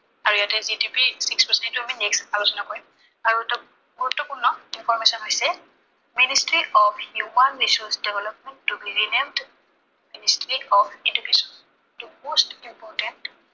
আৰু ইয়াতে GDP process টো আমি next আলোচনা কৰিম। আৰু এটা গুৰুত্বপূৰ্ণ information হৈছে, Ministryof Human Resource Development to be renamed of education to most important